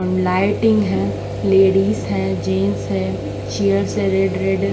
lighting है ladies है gents है चेयर है रेड रेड --